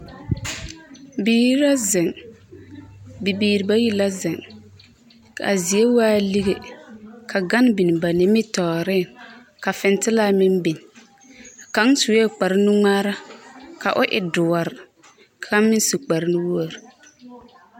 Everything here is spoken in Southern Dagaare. Biiri la zeŋ bibiiri bayi la zeŋ ka zie waa lige ka gane biŋ ba nimitɔɔreŋ ka fintelaa meŋ biŋ kaŋ sue kparenuŋmaara ka o e doɔre kaŋ meŋ su kparenuwogri.